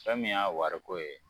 Fɛn min' y'a wariko ye